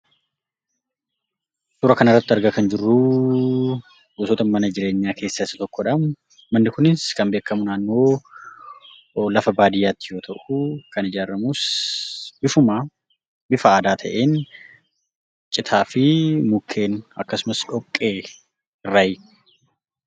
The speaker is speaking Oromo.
Suura kanarratti argaa kan jirruu, gosoota mana jireenya keessaa isa tokkodha. Manni kunis kan beekamu naannoo lafa baadiyaatti yoo ta'u, kan ijaaramu bifuma bifa aadaa ta'een; citaa fi mukkeen akkasumas dhoqqee irraayi.